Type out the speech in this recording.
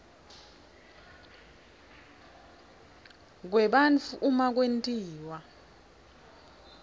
kwebantfu uma kwentiwa